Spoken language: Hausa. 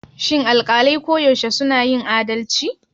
Shin alƙalai koyaushe suna yin adalci?